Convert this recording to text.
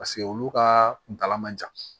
Paseke olu ka kuntala man jan